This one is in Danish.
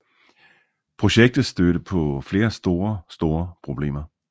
Projektet stødte på flere store store problemer